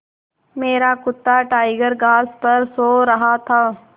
मेरा कुत्ता टाइगर घास पर सो रहा था